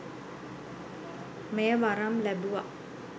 මෙය වරම් ලැබුවා